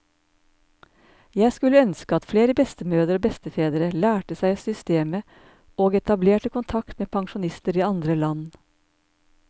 Jeg skulle ønske at flere bestemødre og bestefedre lærte seg systemet og etablerte kontakt med pensjonister i andre land.